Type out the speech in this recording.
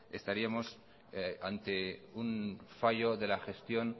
estaríamos ante un fallo de la gestión